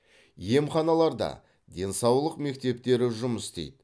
емханаларда денсаулық мектептері жұмыс істейді